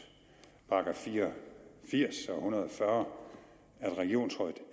§ fire og firs og hundrede og fyrre at regionsrådet